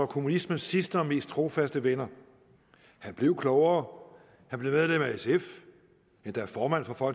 kommunismens sidste og mest trofaste venner han blev klogere han blev medlem af sf endda formand for